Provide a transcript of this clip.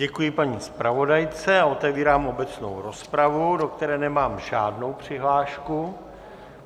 Děkuji paní zpravodajce a otevírám obecnou rozpravu, do které nemám žádnou přihlášku.